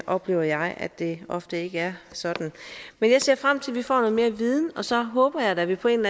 oplever jeg at det ofte ikke er sådan men jeg ser frem til at vi får noget mere viden og så håber jeg da at vi på en